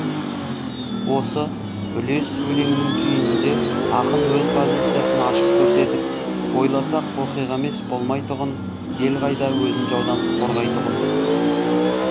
осы үлес өлеңінің түйінінде ақын өз позициясын ашық көрсетіп ойласақ оқиға емес болмайтұғын ел қайда өзін жаудан қорғайтұғын